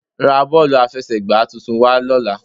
Ra bọ́ọ̀lù àfẹsẹ̀gbà tuntun wá lọ́la